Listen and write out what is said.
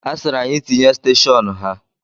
A sịrị anyị tinye steshọnu ha.